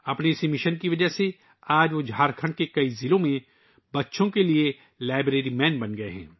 اس mission کی وجہ سے آج وہ جھارکھنڈ کے کئی اضلاع میں بچوں کے لئے 'لائبریری مین' بن چکے ہیں